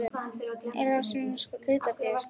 Ber þá að synja um skráningu hlutafélags.